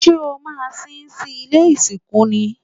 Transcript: Ṣé o maa sín sí ilé ìsìnkú ni?